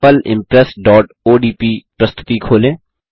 sample impressओडीपी प्रस्तुति खोलें